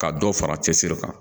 Ka dɔ fara cɛsiri kan